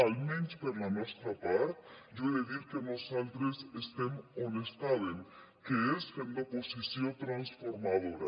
almenys per la nostra part jo he de dir que nosaltres estem on estàvem que és fent d’oposició transformadora